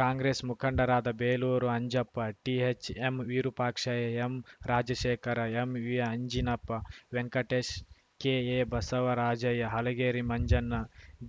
ಕಾಂಗ್ರೆಸ್‌ ಮುಖಂಡರಾದ ಬೇಲೂರು ಅಂಜಪ್ಪ ಟಿಎಚ್‌ಎಂವಿರೂಪಾಕ್ಷಯ್ಯ ಎಂರಾಜಶೇಖರ ಎಂವಿಅಂಜಿನಪ್ಪ ವೆಂಕಟೇಶ್ ಕೆಎ ಬಸವರಾಜಯ್ಯ ಹಲಗೇರಿ ಮಂಜಣ್ಣ